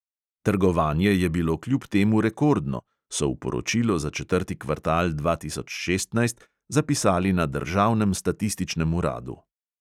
Trgovanje je bilo kljub temu rekordno, so v poročilo za četrti kvartal dva tisoč šestnajst zapisali na državnem statističnem uradu.